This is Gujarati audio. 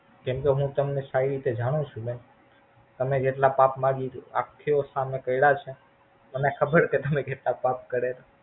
કેમ કે હું તમને સારી રીતે તમને જાણું બેન. તમે જેટલા પાપ અમને ખબર તમે કેટલા પાપ કરેલા.